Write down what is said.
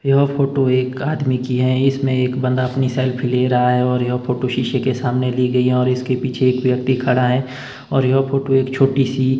यह फोटो एक आदमी की हैं इसमें एक बंदा अपनी सेल्फी ले रहा है और यह फोटो शीशे के सामने ली गई है और इसके पीछे एक आदमी खड़ा है और यह फोटो एक छोटी सी--